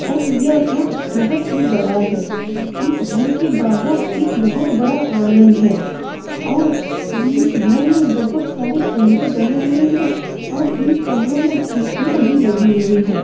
और यह घर बोहोत ही बड़ा है। इस घर के बाहर एक बोहोत बड़ा आंगन है और इस घर में बोहोत सारे कमरे बने हुए हैं और इन कमरों में खिडकियां भी लगी हुई हैं।